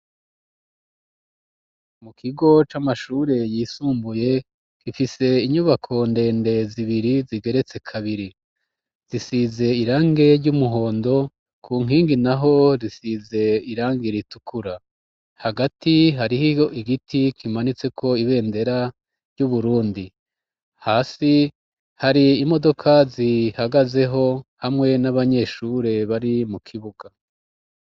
Mu kigo c'amashure yisumbuye gifise inyubako ndende zibiri zigeretse kabiri, zisize irange ry'umuhondo ku nkingi naho risize irange ritukura hagati harihiyo igiti kimanitse ko ibendera ry'Uburundi, hasi hari imodoka zihagazeho hamwe n'abanyeshure bari mu kibuga.